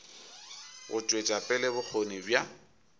go tšwetša pele bokgoni bja